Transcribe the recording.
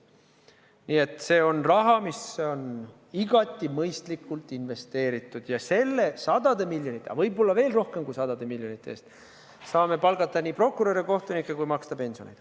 Nii et see on raha, mis on igati mõistlikult investeeritud, ja nende sadade miljonite, aga võib-olla veel rohkem kui sadade miljonite eest saame palgata nii prokuröre, kohtunikke kui maksta pensione.